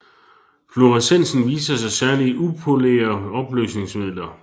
Fluorescensen viser sig særlig i upolære opløsningsmidler